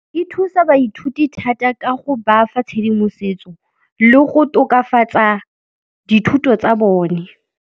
Di thusa baithuti thata ka go ba fa tshedimosetso le go tokafatsa dithuto tsa bone.